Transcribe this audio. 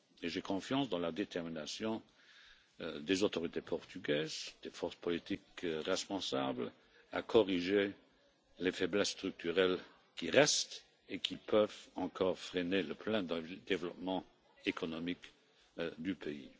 Et j'ai confiance dans la détermination des autorités portugaises, des forces politiques responsables en vue de corriger les faiblesses structurelles qui restent et qui peuvent encore freiner le plein développement économique du pays.